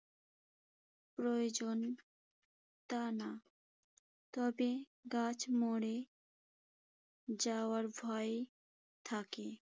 প্রয়োজন তা না। তবে গাছ মরে যাওয়ার ভয় থাকে।